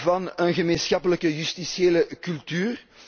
van een gemeenschappelijke justitiële cultuur.